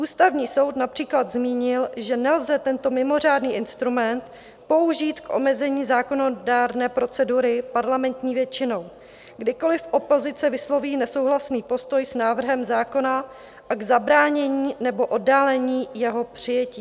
Ústavní soud například zmínil, že nelze tento mimořádný instrument použít k omezení zákonodárné procedury parlamentní většinou, kdykoliv opozice vysloví nesouhlasný postoj s návrhem zákona, a k zabránění nebo oddálení jeho přijetí.